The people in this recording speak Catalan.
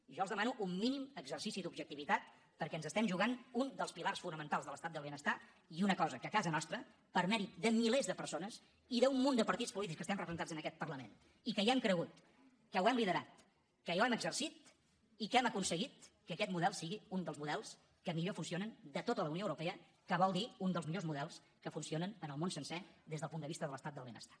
jo els demano un mínim exercici d’objectivitat perquè ens estem jugant un dels pilars fonamentals de l’estat del benestar i una cosa que a casa nostra per mèrit de milers de persones i d’un munt de partits polítics que estem representats en aquest parlament i que hi hem cregut que ho hem liderat que ho hem exercit i que hem aconseguit que aquest model sigui un dels models que millor funcionen de tota la unió europea que vol dir un dels millors models que funcionen en el món sencer des del punt de vista de l’estat del benestar